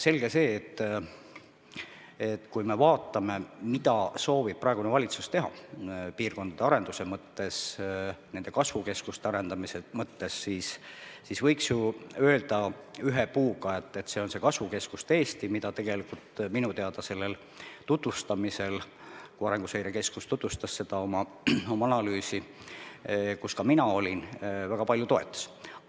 Selge see, et kui me vaatame, mida soovib praegune valitsus teha piirkondade arendamise mõttes, nende kasvukeskuste arendamise mõttes, siis võiks ju öelda "ühe puuga", et see on see kasvukeskuste Eesti, mida tegelikult minu teada sellel tutvustamisel – kui Arenguseire Keskus tutvustas oma analüüsi –, kus ka mina olin, väga paljud toetasid.